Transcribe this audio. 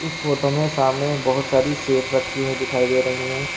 इस फोटो में सामने बहोत सारी सेफ रखी हुई दिखाई दे रही हैं।